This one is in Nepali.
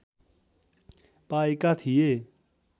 पाएका थिए